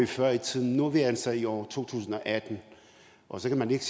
før i tiden nu er vi altså i år to tusind og atten og så kan man ikke